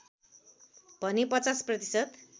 भने ५० प्रतिशत